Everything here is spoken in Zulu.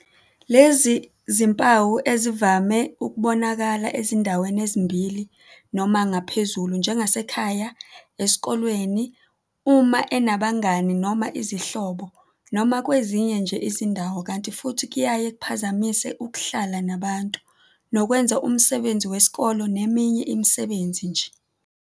"Lezi zimpawu ezivame ukubonakala ezindaweni ezimbili noma ngaphezulu njengasekhaya, esikoleni, uma enabangani noma izihlobo noma kwezinye nje izindawo kanti futhi kuyaye kuphazamise ukuhlala nabantu, nokwenza umsebenzi wesikole neminye imisebenzi nje."